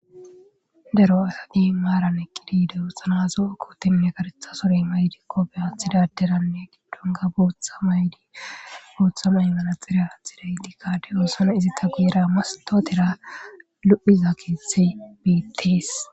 Daro atadi maaran eqqidi de'osonna zo'o kootenne kareththa surey may'di koofiya aathidaderanne giddonkka bootha maydi bootha may'o manaxire aathidayttikka de'oosona izi guyera mastotera lo'iza keeththey beettes